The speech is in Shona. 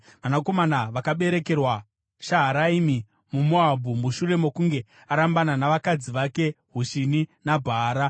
Vanakomana vakaberekerwa Shaharaimi muMoabhu mushure mokunge arambana navakadzi vake Hushini naBhaara.